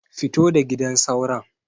Fito da gidan sauron.